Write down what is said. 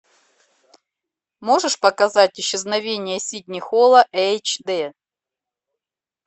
можешь показать исчезновение сидни холла эйч дэ